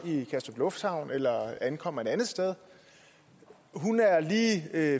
i kastrup lufthavn eller ankommer et andet sted hun er